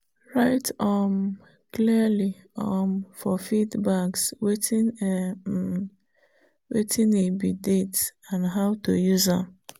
write um clearly um for feed bags—wetin e um be date and how to use am.